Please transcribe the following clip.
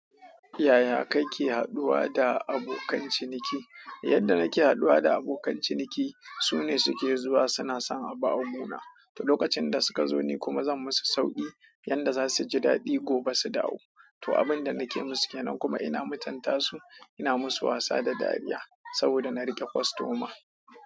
Ya ya kake haɗuwa da abokan ciniki? Yadda nake haɗuwa da abokan ciniki, su ne suke zuwa suna son a bawa mun. To lokacin da suka zo ni kuma zan musu sauƙi, yadda za su ji daɗi gobe su dawo. To abin da nake musu ke nan kuma ina mutanta su, ina musu wasa da dariya, saboda na riƙe kwastoma.